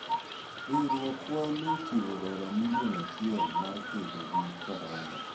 Riwruokwa nochiwo dola milion achiel mar kedo gi corona.